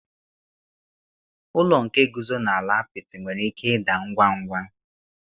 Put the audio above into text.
Ụlọ nke guzo n'ala apịtị nwere ike ịda ngwa ngwa.